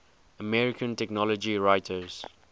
american technology writers